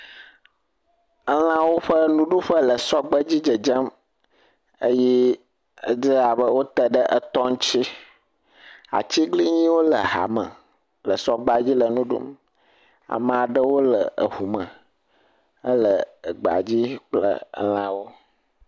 Elãwo ƒe nuɖuƒe le sɔgbe dzi dzedzem eye edze abe wote ɖe etɔ ŋuti. Atiglinyiwo le ha me le sɔgbea dzi le nu ɖum. Ame aɖewo le eŋu me hele egbea dzi kple elãwo.